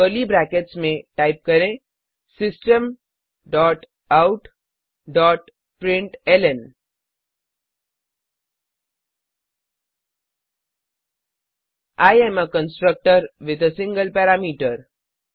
curly brackets में type करें system dot out dot println I am a constructor with a single parameter